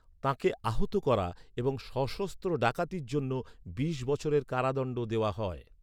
তাঁকে আহত করা এবং সশস্ত্র ডাকাতির জন্য বিশ বছরের কারাদণ্ড দেওয়া হয়।